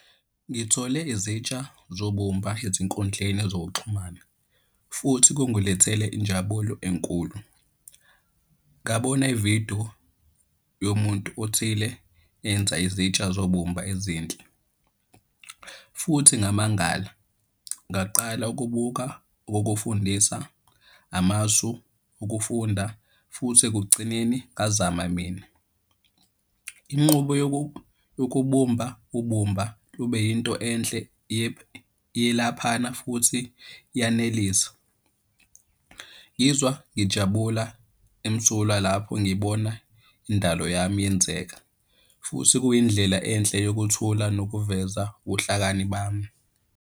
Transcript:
Ngithole izitsha zobumba ezinkundleni zokuxhumana, futhi kungilethele injabulo enkulu. Ngabona ividiyo yomuntu othile enza izitsha zobumba ezinhle, futhi ngamangala ngaqala ukubuka ukufundisa amasu okufunda futhi ekugcineni ngazama mina. Inqubo yokubumba ubumba lube yinto enhle iyelaphana futhi iyanelisa. Ngizwa ngijabula emsulwa lapho ngibona indalo yami yenzeka, futhi, kuyindlela enhle eyokuthula, nokuveza ubuhlakani bami.